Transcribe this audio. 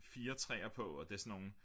4 træer på og det er sådan nogle